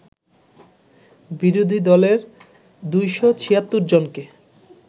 বিরোধী দলের ২৭৬ জনকে